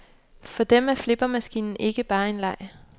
For dem er flippermaskinen ikke bare en leg.